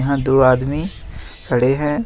यहां दो आदमी खड़े हैं।